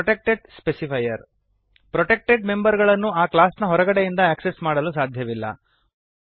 protected specifier protected member ಗಳನ್ನು ಆ class ನ ಹೊರಗಡೆಯಿಂದ ಆಕ್ಸೆಸ್ ಮಾಡಲು ಸಾಧ್ಯವಿಲ್ಲ